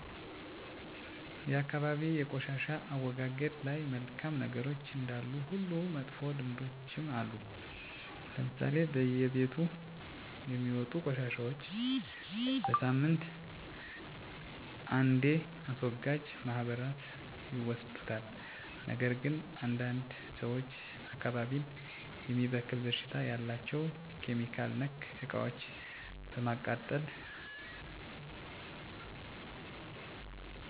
የአካባቢ የቆሻሻ አወጋገድ ላይ መልካም ነገሮች እንዳሉ ሁሉ መጥፎ ልምዶችም አሉ ለምሳሌ በየቤቱ የሚወጡ ቆሻሻዎች በሳምንት አንዴ አስወጋጅ ማህበራት ይወስዱታል ነገር ግን አንዳንድ ሰዎች አካባቢን የሚበክል ሽታ ያላቸው (ኬሚካል)ነክ እቃዎችን በማቃጠል ሰውን እና የአካባቢ አየር ሲበከል ይታያል። ሌላው እጥብጣቢ እና ሽታ ያላቸው ፍሳሾች መንገድ ላይ በመድፋት እፃናት ሲጫዎቱ በሽታ መተንፈሻ አካላት መጎዳት ወይም ጉፋን መታመም ይታያል። እነዚህን ችግሮች ለማስተካከል የአካቢዉ ሰው እያየ ዝም ከማለት ነገም በኔነው በማለት በየጊዜው መወያየት እና መመካከር ያስፈልጋል።